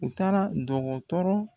U taara dɔgɔtɔrɔ